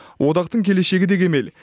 одақтың келешегі де кемел